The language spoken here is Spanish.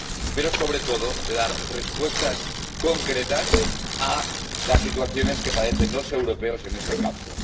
pero, sobre todo, de dar respuestas concretas a las situaciones que padecen los europeos en este campo.